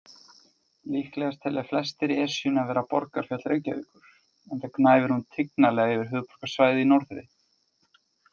Líklegast telja flestir Esjuna vera borgarfjall Reykjavíkur, enda gnæfir hún tignarlega yfir höfuðborgarsvæðið í norðri.